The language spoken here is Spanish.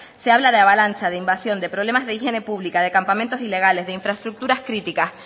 se habla de avalancha de invasión de problemas de higiene pública de campamentos ilegales de infraestructuras críticas